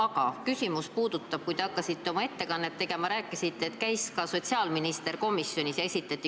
Aga küsimus puudutab seda, et oma ettekannet tegema hakates te rääkisite sotsiaalministri komisjonis käigust.